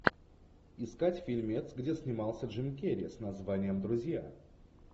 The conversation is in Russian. искать фильмец где снимался джим керри с названием друзья